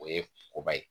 O ye koba ye